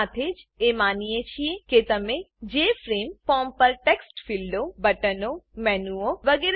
સાથે જ એ માનીએ છીએ કે તમે જેએફઆરએમઈ ફોર્મ પર ટેક્સ્ટ ફીલ્ડો બટનો મેનુઓ વગેરે